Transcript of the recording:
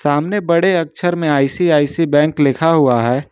सामने बड़े अक्षर में आई_सी_आई_सी_आई बैंक लिखा हुआ है।